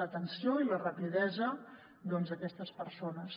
l’atenció i la rapidesa doncs a aquestes persones